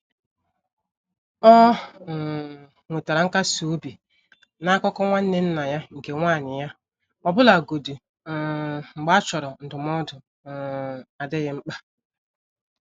Ọ um nwetara nkasi obi na akụkọ nwanne nna ya nke nwanyị ya, ọbụlagodi um mgbe a chọrọ ndụmọdụ um adịghị mkpa.